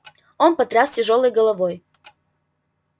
он потряс тяжёлой головой